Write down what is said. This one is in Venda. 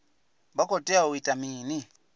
vha khou tea u ita mini